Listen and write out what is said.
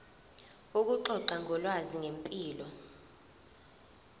ukuxoxa ngolwazi ngempilo